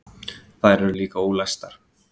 Þær eru líka ólæstar.